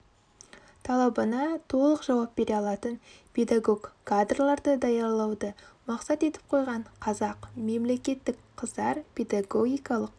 талабына толық жауап бере алатын педагог кадрларды даярлауды мақсат етіп қойған қазақ мемлекеттік қыздар педагогикалық